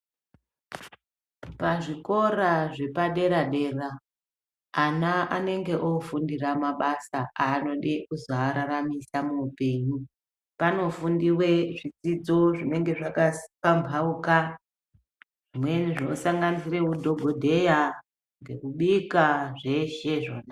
Pazvikora zvepaderadera ana anenge oofundira mabasa anode kuzoararamisa muupenyu. Panofundiwe zvidzidzo zvinenge zvakapambauka zvimweni zvinosanganisire udhogodeya ngekubika, zveshe izvona.